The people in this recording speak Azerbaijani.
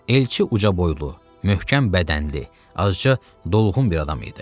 Elçi ucaboylu, möhkəm bədənli, azca dolğun bir adam idi.